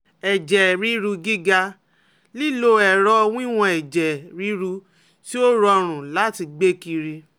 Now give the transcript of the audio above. Ẹjẹ riru giga, lilo ẹrọ wiwọn ẹjẹ riru ti o rọrun lati gbe kiri